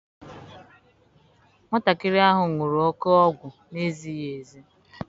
Nwatakịrị ahụ were oke ọgwụ na-ezighi ezi.